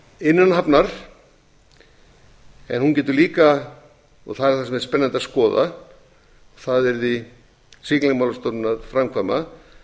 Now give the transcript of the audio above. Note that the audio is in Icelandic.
innan hafnar en hún getur líka og það verður spennandi að skoða það yrði siglingastofnun að framkvæma að